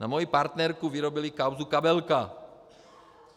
Na moji partnerku vyrobili kauzu "Kabelka".